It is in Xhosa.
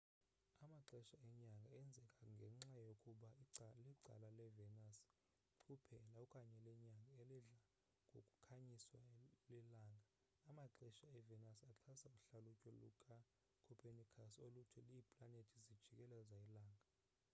amaxesha enyanga enzeka ngenxa yokuba licala levenus kuphela okanye lenyanga elidla ngokukhanyiswa lilanga. amaxesha evenus axhasa uhlalutyo lukacopernicus oluthi iiplanethi zijikeleza ilanga